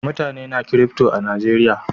Mutane na kirifto a Najeriya